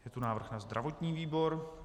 Je tu návrh na zdravotní výbor.